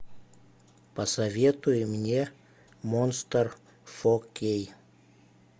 посоветуй мне монстр фо кей